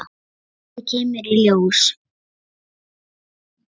Þetta kemur í ljós!